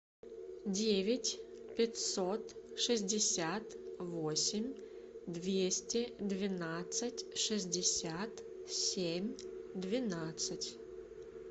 девять пятьсот шестьдесят восемь двести двенадцать шестьдесят семь двенадцать